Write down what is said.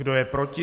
Kdo je proti?